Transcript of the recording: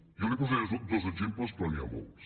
jo li posaré dos exemples però n’hi ha molts